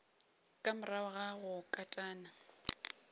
ka morago ga go katana